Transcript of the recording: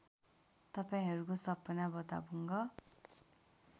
तपाईँहरूको सपना भताभुङ्ग